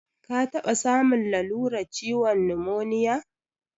Ka taɓa samun lalurar ciwon numoniya?